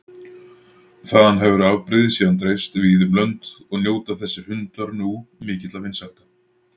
Þaðan hefur afbrigðið síðan dreifst víða um lönd og njóta þessir hundar nú mikilla vinsælda.